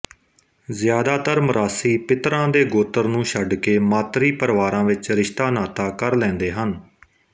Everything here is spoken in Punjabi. ਜ਼ਿਆਦਾਤਰ ਮਰਾਸੀ ਪਿਤਰਾਂ ਦੇ ਗੋਤਰ ਨੂੰ ਛੱਡ ਕੇ ਮਾਤਰੀ ਪਰਿਵਾਰਾਂ ਵਿਚ ਰਿਸ਼ਤਾਨਾਤਾ ਕਰ ਲੈਂਦੇ ਹਨ